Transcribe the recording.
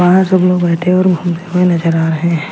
बाहर सब लोग बैठे और घूमते हुए नजर आ रहे हैं।